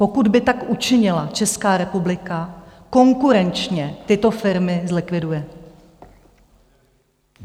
Pokud by tak učinila Česká republika, konkurenčně tyto firmy zlikviduje.